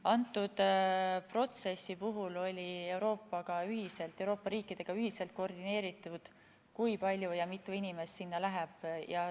Kõnealuse protsessi puhul oli Euroopa riikidega ühiselt koordineeritud, mitu inimest sinna läheb.